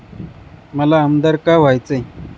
मला आमदार का व्हायचंय?